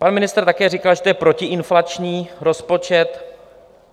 Pan ministr také říkal, že to je protiinflační rozpočet.